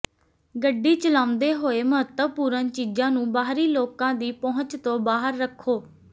ਗੱਡੀ ਚਲਾਉਂਦੇ ਹੋਏ ਮਹੱਤਵਪੂਰਨ ਚੀਜ਼ਾਂ ਨੂੰ ਬਾਹਰੀ ਲੋਕਾਂ ਦੀ ਪਹੁੰਚ ਤੋਂ ਬਾਹਰ ਰੱਖੋ